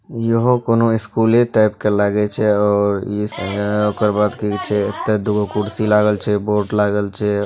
इ हो कोनो स्कूले टाइप के लागे छै और ओकर बाद केहू छै अ ते दुगो कुर्सी लागल छै बोर्ड लागल छै।